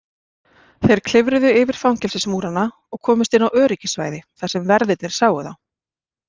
Þeir klifruðu yfir fangelsismúrana og komust inn á öryggissvæði þar sem verðirnir sáu þá.